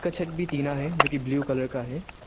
छत भी टीना है जो कि ब्लू कलर का है।